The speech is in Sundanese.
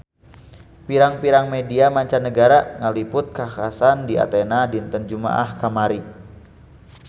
Pirang-pirang media mancanagara ngaliput kakhasan di Athena dinten Jumaah kamari